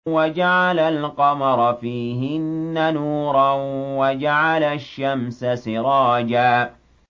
وَجَعَلَ الْقَمَرَ فِيهِنَّ نُورًا وَجَعَلَ الشَّمْسَ سِرَاجًا